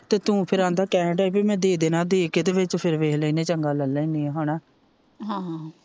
ਤੇ ਤੂ ਫਿਰ ਆਂਦਾ ਕਹਿਣ ਦਿਆ ਹੀ ਪੀ ਮੈ ਦੇ ਦੇਣਾ ਦੇ ਕੇ ਤੇ ਵਿਚ ਫਿਰ ਵੇਖ ਲੈਣੇ ਚੰਗਾ ਲੈ ਲੈਣੇ ਆ ਹੇਨਾ